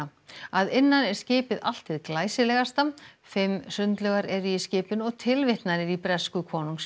að innan er skipið allt hið glæsilegasta fimm sundlaugar eru í skipinu og tilvitnanir í bresku